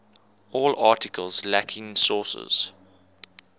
all articles lacking sources